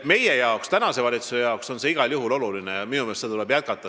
Meie arvates, tänase valitsuse arvates on see igal juhul oluline ja minu meelest tuleb seda jätkata.